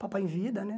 Papai em Vida, né?